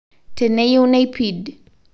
Teneyeu neipid